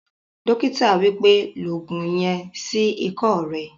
Dókítà wípẹ́, "lo ògùn yen sí ikọ́ rẹ